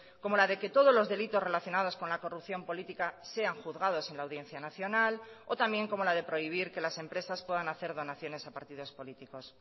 como la de que todos los delitos relacionados con la corrupción política sean juzgados en la audiencia nacional o también como la de prohibir que las empresas puedan hacer donaciones a partidos políticos